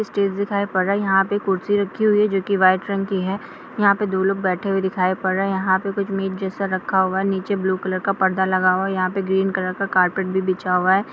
ये स्टेज दिखाई पड़ रहा है। यहां पर कुर्सी रखी हुई है। जो कि व्हाइट रंग की है। यहाँ पे दो लोग बैठे हुए दिखाई पढ़ रहा है। यहाँ पे मीट जैसा कुछ रखा हुआ है। नीचे ब्लू कलर का पर्दा लगा हुआ है। यहाँ पे ग्रीन कलर का कारपेट भी बिछा हुआ है।